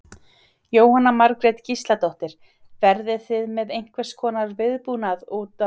Jóhanna Margrét Gísladóttir: Verðið þið með einhvers konar viðbúnað útaf þessu?